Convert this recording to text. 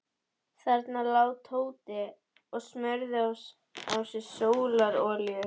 Þarna lá Tóti og smurði á sig sólarolíu.